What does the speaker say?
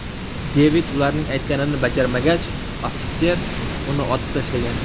Devid uning aytganini bajarmagach, ofitser uni otib tashlagan.